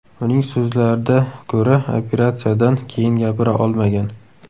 Uning so‘zlarida ko‘ra, operatsiyadan keyin gapira olmagan.